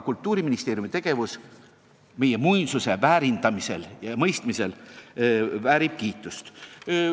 Kultuuriministeeriumi tegevus meie muinsusvara väärindamisel ja probleemide mõistmisel väärib kiitust.